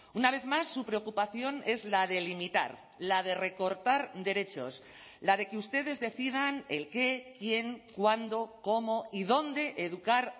una vez más su preocupación es la de limitar la de recortar derechos la de que ustedes decidan el qué quién cuándo cómo y dónde educar